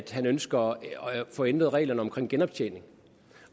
at han ønsker at få ændret reglerne omkring genoptjening